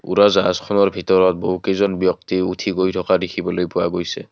উৰাজাহাজখনৰ ভিতৰত বহুকেইজন ব্যক্তি উঠি গৈ থকা দেখিবলৈ পোৱা গৈছে।